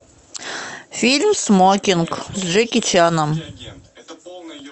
фильм смокинг с джеки чаном